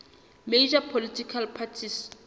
major political parties